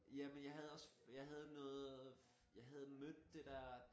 Jamen jeg havde også jeg havde noget jeg havde mødt det dér